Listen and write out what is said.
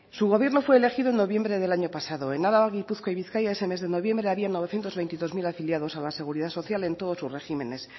su gobierno fue elegido en noviembre del año pasado en álava gipuzkoa y bizkaia ese mes de noviembre había novecientos veintidós mil afiliados a la seguridad social en todos sus regímenes